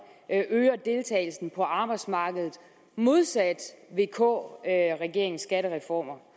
øger deltagelsen på arbejdsmarkedet modsat vk regeringens skattereformer